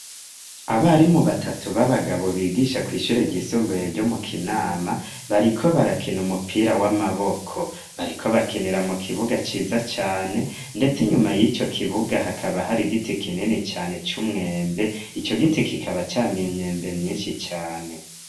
Abari mu batatu b'abagabo bigisha kw'ishure ryisombuye ryo mu kinama bariko barakina umupira w'amaboko bariko bakinira mu kibuga ciza cane, ndetse inyuma y'ico kibuga hakaba hari igiti kinene cane c'umwembe ico giti kikaba came imyembe myinshi cane.